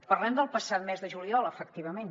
parlem del passat mes de juliol efectivament